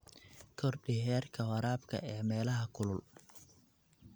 Kordhi heerka waraabka ee meelaha kulul.